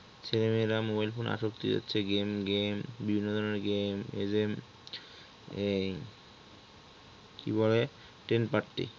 ছেলেমেয়েরা mobile phone আসক্তি হয়ে যাচ্ছে game game বিভিন্ন ধরনের game এদের এই কি বলে ten পাত্তি